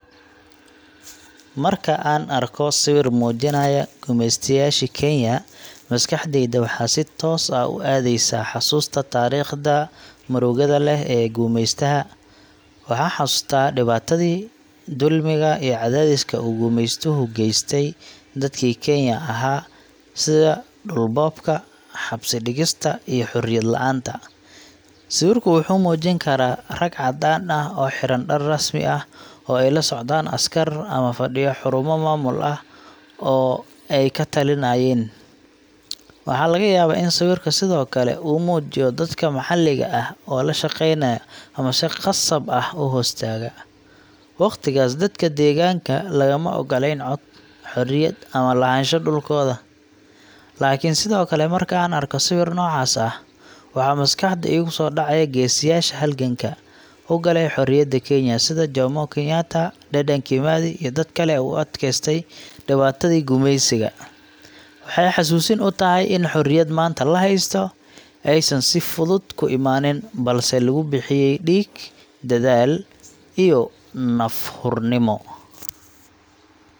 Marka aan arko sawir muujinaya gumeystayaashii Kenya, maskaxdayda waxay si toos ah u aadaysaa xasuusta taariikhda murugada leh ee gumeystaha. Waxaan xasuustaa dhibaatadii, dulmiga, iyo cadaadiska uu gumeystuhu u geystay dadkii Kenyan ka ahaa sida dhul boobka, xabsi dhigista, iyo xorriyad la’aanta. Sawirku wuxuu muujin karaa rag caddaan ah oo xiran dhar rasmi ah, ay la socdaan askar, ama fadhiya xarumo maamul oo ay ka talinayeen. Waxaa laga yaabaa in sawirka sidoo kale uu muujiyo dadka maxalliga ah oo la shaqeynaya ama si khasab ah u hoos taga. Waqtigaas, dadka deegaanka lagama oggolayn cod, xorriyad ama lahaanshaha dhulkooda. Laakiin sidoo kale, marka aan arko sawir noocaas ah, waxaa maskaxda iigu soo dhacaya geesiyaasha halganka u galay xorriyadda Kenya, sida Jomo Kenyatta, Dedan Kimathi, iyo dadka kale ee u adkaystay dhibaatadii gumeysiga. Waxay xasuusin u tahay in xorriyadda maanta la haysto aysan si fudud ku imaanin, balse lagu bixiyay dhiig, dadaal iyo naf hurnimo.